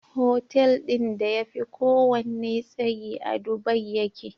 Hotel din da yafi kowanne tsayi a dubai yake